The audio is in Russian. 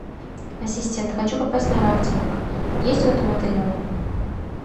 ассистент хочу попасть на рафтинг есть в этом отеле он